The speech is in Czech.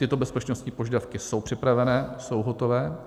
Tyto bezpečnostní požadavky jsou připravené, jsou hotové.